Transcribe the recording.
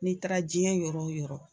N'i taara cɛn yɔrɔ o yɔrɔ